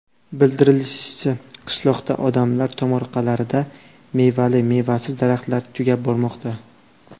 Bildirilishicha, qishloqda odamlar tomorqalarida mevali-mevasiz daraxtlar tugab bormoqda.